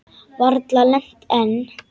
Varla lent enn.